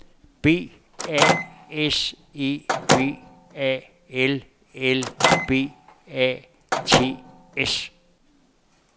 B A S E B A L L B A T S